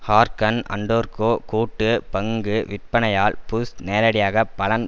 hearken அன்டர்க்கோ கூட்டு பங்கு விற்பனையால் புஷ் நேரடியாக பலன்